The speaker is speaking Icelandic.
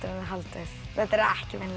haldið þetta eru ekki venjuleg